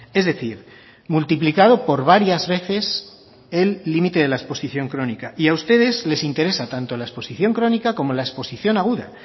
es decir multiplicado por varias veces el límite de la exposición crónica y a ustedes les interesa tanto la exposición crónica como la exposición aguda